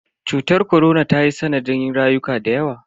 Cutar korona tayi sanadin rayuka dayawa.